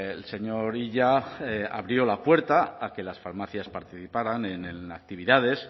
el señor illa abrió la puerta a que las farmacias participaran en actividades